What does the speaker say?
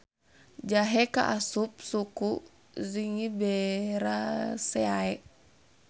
Jahe kaasup suku Zingiberaceae.